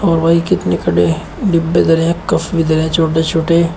कितने खड़े हैं डिब्बे धरे हैं कप भी धरे हैं छोटे छोटे।